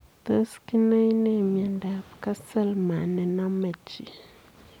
Tos kinae nee miondoop castleman nenomee chii?